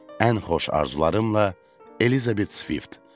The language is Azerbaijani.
Ən xoş arzularımla Elizabet Swift.